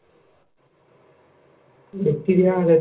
Bacteria A